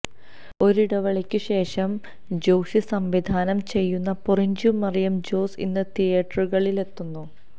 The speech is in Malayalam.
ഒരിടവേളക്ക് ശേഷം ജോഷി സംവിധാനം ചെയ്യുന്ന പൊറിഞ്ചു മറിയം ജോസ് ഇന്ന് തിയേറ്ററുകളിലെത്തുന്നു